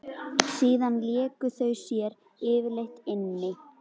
Síðan léku þau sér yfirleitt inni.